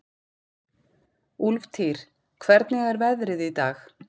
Úlftýr, hvernig er veðrið í dag?